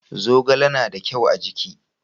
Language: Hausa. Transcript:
zogale na da kyau a jiki